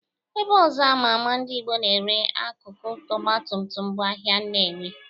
Ebe ọzọ ama ama ndị Ịgbo na-ere akụkụ Ọgbatumtum bụ ahịa Nnewi.